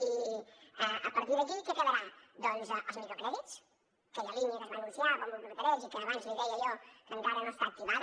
i a partir d’aquí què quedarà doncs els microcrèdits aquella línia que es va anunciar a bombo i platerets i que abans li deia jo que encara no està activada